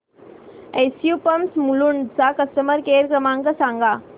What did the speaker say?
SU pumps Mulund चा customer care क्रमांक सांगा